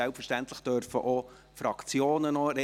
Selbstverständlich dürfen auch die Fraktionen noch sprechen.